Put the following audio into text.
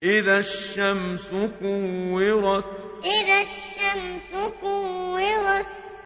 إِذَا الشَّمْسُ كُوِّرَتْ إِذَا الشَّمْسُ كُوِّرَتْ